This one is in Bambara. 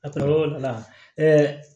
A kila l'o la